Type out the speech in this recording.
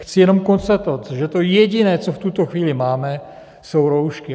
Chci jenom konstatovat, že to jediné, co v tuto chvíli máme, jsou roušky.